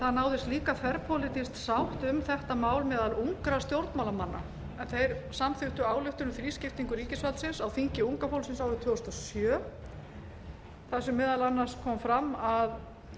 það náðist líka þverpólitísk sátt um þetta mál meðal ungra stjórnmálamanna þeir samþykktu ályktun um þrískiptingu ríkisvaldsins á þingi unga fólksins árið tvö þúsund og sjö þar sem meðal annars kom fram að